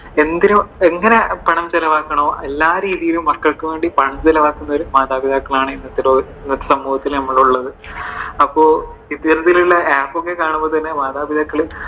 എന്തിനോ എങ്ങനെ പണം ചിലവാക്കാണോ, എല്ലാ രീതിയിലും മക്കൾക്കുവേണ്ടി പണം ചിലവാക്കുന്ന ഒരു മാതാപിതാക്കളാണ് ഇന്നത്തെ സമൂഹത്തിലിള്ളത്. അപ്പോൾ ഇത്തരത്തിലുള്ള app കാണുമ്പോൾ തന്നെ മാതാപിതാക്കൾ